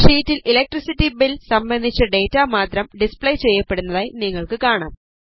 ഷീറ്റിൽ electricity bill സംബന്ധിച്ച data മാത്രം ഡിസ്പ്ലേ ചെയ്യപ്പെടുന്നതിനായി നിങ്ങൾക്ക് കാണാം